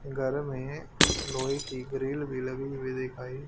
घर में लोहे की ग्रिल भी लगी हुई दिखाई--